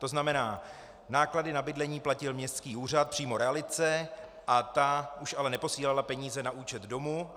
To znamená, náklady na bydlení platil městský úřad přímo realitce a ta už ale neposílala peníze na účet domu.